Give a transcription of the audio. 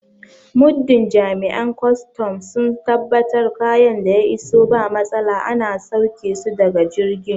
Muddin Jami'an kwaston sun tabbatar kayan da ya iso ba matsala ana sauƙe su daga jirgi